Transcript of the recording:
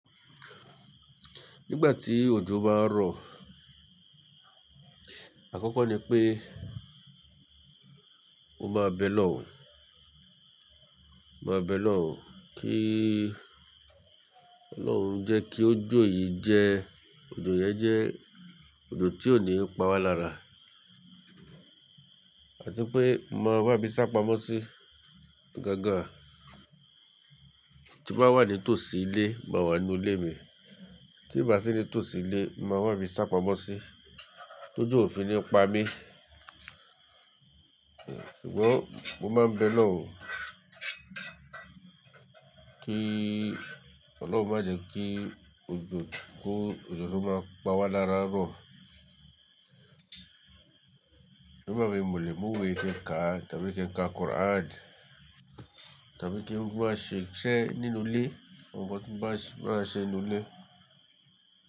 Nígbà tí òjò bá ń rọ̀, àkọ́kọ́ ni pé mo máa bẹ lọun, máa bẹ lọun kí Ọlọ́run jẹ́ kí òjò yìí jẹ́, òjò yẹn jẹ́ òjò tí ò ní pa wá lára. Àti pé máa wá mi sápamọ́ sí gangan. Tí mo wà ní tòsí ilé, màá wà nínú ilé mi. Tí n bá sí ní tòsí ilé, màá wá bi sápamọ́ sí tó jo ò fi ní pa mí. Ṣùgbọ́n mo máa bẹ lọun kí Ọlọ́run má jẹ́ kí òjò tó máa pa wá lára rọ̀. Ti o ba wumi, mo le mu iwẹ ki n kà tàbí kí n ka Quran tàbí kí n wá ṣé nínu ilé, mo wá ṣé nínú ilé.